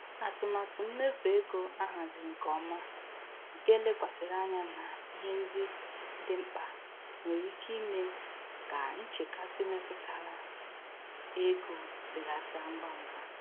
Atụmatụ mmefu ego ahaziri nke ọma nke lekwasịrị anya na ihe ndị dị mkpa nwere ike ime ka nchekasị metụtara ego belata ngwa ngwa.